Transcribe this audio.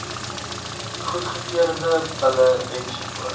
goedgekeurde bulle ens